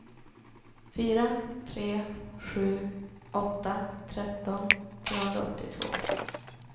fyra tre sju åtta tretton trehundraåttiotvå